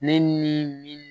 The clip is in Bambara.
Ne ni